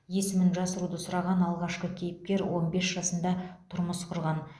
есімін жасыруды сұраған алғашқы кейіпкер он бес жасында тұрмыс құрған